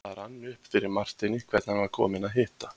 Það rann upp fyrir Marteini hvern hann var kominn að hitta.